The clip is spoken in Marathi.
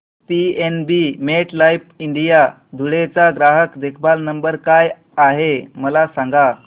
पीएनबी मेटलाइफ इंडिया धुळे चा ग्राहक देखभाल नंबर काय आहे मला सांगा